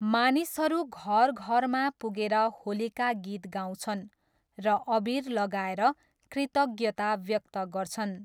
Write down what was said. मानिसहरू घरघरमा पुगेर होलीका गीत गाउँछन् र अबिर लगाएर कृतज्ञता व्यक्त गर्छन्।